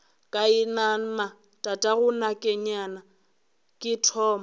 ka inama tatagonakeyena ke thoma